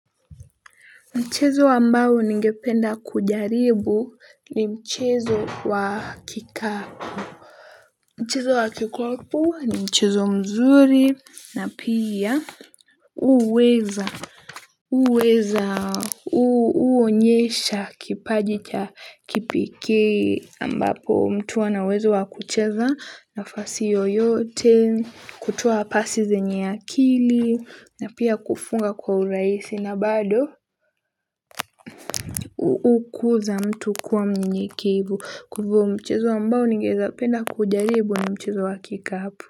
Mchezo ambao ningependa kujaribu ni mchezo wa kikapu mchezo wa kikapu ni mchezo mzuri na pia huweza huweza huonyesha kipaji cha kipekee ambapo mtu ana uwezo wa kucheza nafasi yoyote kutoa pasi zenye akili na pia kufunga kwa urahisi na bado ukuza mtu kuwa mnyenyekevu kwahivo mchezo ambao ningependa kujaribu ni mchezo wa kikapu.